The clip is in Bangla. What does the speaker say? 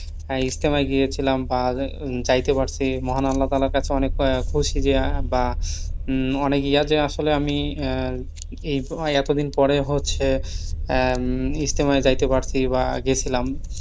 হ্যাঁ ইজতেমায় গিয়েছিলাম বা যায়তে পারছি। মহান আল্লাহতালার কাছে অনেক খুশি যে বা আহ অনেক ইয়াতে আসলে আমি আহ এই এতদিন পরে হচ্ছে আহ ইজতেমায় যায়তে পারছি বা গেছিলাম।